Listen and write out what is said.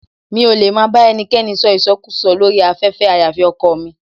Mi ò lè máa bá ẹnikẹ́ni sọ ìsọkúùsọ lórí afẹ́fẹ́ àyàfi ọkọọ̀ mi.